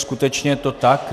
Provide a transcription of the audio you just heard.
Skutečně je to tak.